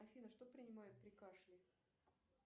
афина что принимают при кашле